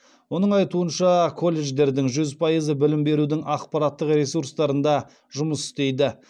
оның айтуынша колледждердің жүз пайызы білім берудің ақпараттық ресурстарында жұмыс істейді